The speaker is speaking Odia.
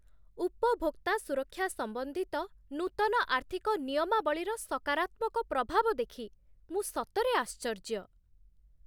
ଉପଭୋକ୍ତା ସୁରକ୍ଷା ସମ୍ବନ୍ଧିତ ନୂତନ ଆର୍ଥିକ ନିୟମାବଳୀର ସକାରାତ୍ମକ ପ୍ରଭାବ ଦେଖି ମୁଁ ସତରେ ଆଶ୍ଚର୍ଯ୍ୟ।